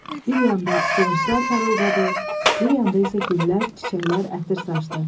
Bir yanda qılınclar parıldadı, bir yanda isə güllər, çiçəklər ətir saçdı.